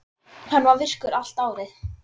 Hann er virkur allt árið.